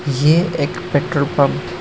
ये एक petrol pump --